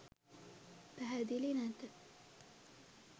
පැහැදිලි නැත.